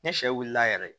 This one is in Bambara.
Ni sɛ wulila yɛrɛ